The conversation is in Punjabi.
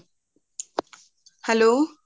hello